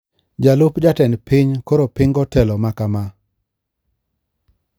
Jalup jatend piny koro pingo telo mar KAMA